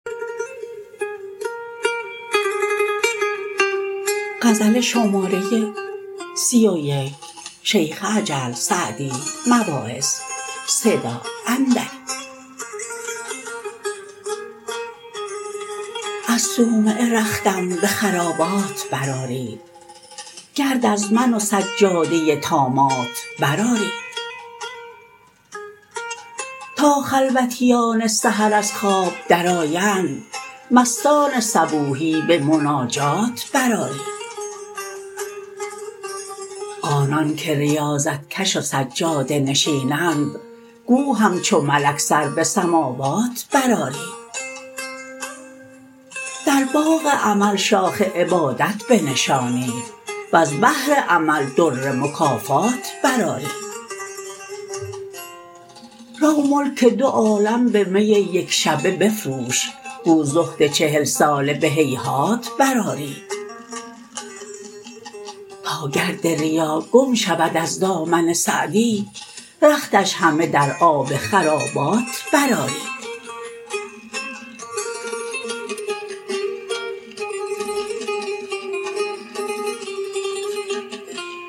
از صومعه رختم به خرابات برآرید گرد از من و سجاده طامات برآرید تا خلوتیان سحر از خواب درآیند مستان صبوحی به مناجات برآرید آنان که ریاضت کش و سجاده نشینند گو همچو ملک سر به سماوات برآرید در باغ امل شاخ عبادت بنشانید وز بحر عمل در مکافات برآرید رو ملک دو عالم به می یکشبه بفروش گو زهد چهل ساله به هیهات برآرید تا گرد ریا گم شود از دامن سعدی رختش همه در آب خرابات برآرید